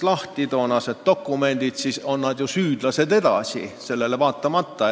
Toonaste dokumentide kohaselt on nad süüdlased edasi, kuigi nad lasti vabaks.